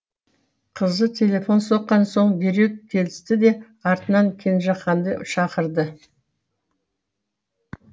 қызы телефон соққан соң дереу келісті де артынан кенжеханды шақырды